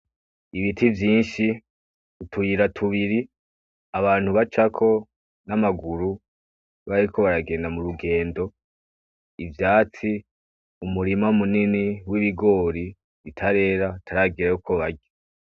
Ibiti vyinshi utuyira tubiri abantu bacako n'amaguru bariko baragenda m'urugendo, ivyatsi umurima munini w'ibigori bitarera hataragera yuko barya.